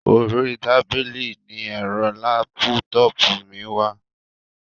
Orí tábìlì ní ẹ̀rọ lápútọpù mi wà.